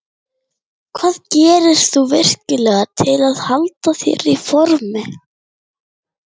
Hvað gerir þú vikulega til að halda þér í formi?